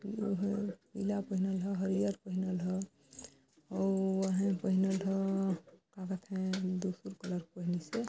इला पहिनल ह हरियर पहिनल ह अउ आहे पहिनल ह कए कथे दूसरी कलर पहिनिस हे।